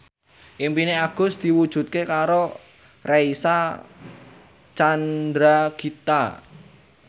impine Agus diwujudke karo Reysa Chandragitta